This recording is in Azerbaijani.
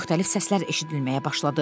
Müxtəlif səslər eşidilməyə başladı.